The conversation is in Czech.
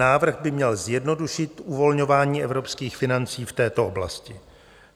Návrh by měl zjednodušit uvolňování evropských financí v této oblasti.